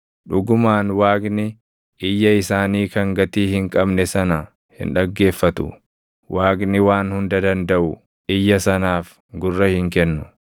Dhugumaan Waaqni iyya isaanii kan gatii hin qabne sana hin dhaggeeffatu; Waaqni Waan Hunda Dandaʼu iyya sanaaf gurra hin kennu.